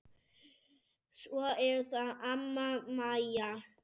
Svo er það amma Mæja.